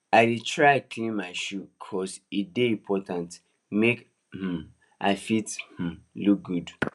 i dey try clean my shoe cos e dey important make um i fit um look good